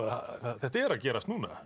þetta er að gerast núna